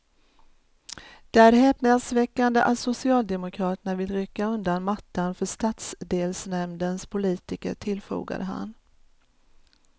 Det är häpnadsväckande att socialdemokraterna vill rycka undan mattan för stadsdelsnämndens politiker, tillfogade han.